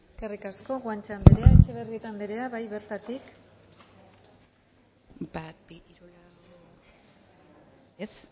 eskerrik asko guanche anderea etxebarrieta anderea bai bertatik bat bi hiru lau ez